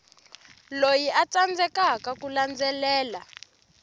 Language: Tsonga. loyi a tsandzekaka ku landzelela